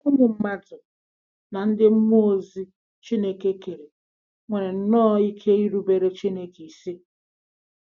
Ụmụ mmadụ na ndị mmụọ ozi Chineke kere nwere nnọọ ike irubere Chineke isi.